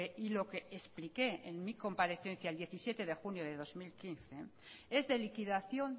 y lo que expliqué en mi comparecencia el diecisiete de junio de dos mil quince es de liquidación